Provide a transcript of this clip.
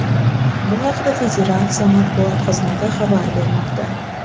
Bu haqda Federatsiya matbuot xizmati xabar bermoqda .